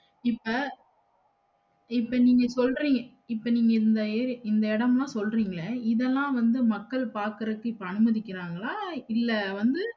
இப்ப இப்ப நீங்க சொல்றிங்க இப்ப நீங்க இந்த ஏ இந்த இடமெல்லாம் சொல்றீங்கல இதெல்லாம் வந்து மக்கள் பாக்கறதுக்கு இப்ப அனுமதிக்கிறாங்களா? இல்ல வந்து